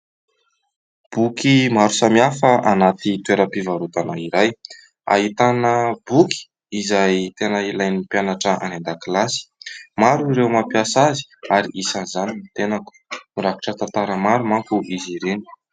Boky maro samihafa anaty toeram-pivarotana iray. Ahitana boky izay tena ilain'ny mpianatra any an-dakilasy. Maro ireo mampiasa azy ary isan'izany ny tenako. Mirakitra tantara maro mantsy izy ireny.